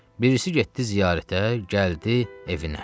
Birisi getdi ziyarətə, gəldi evinə.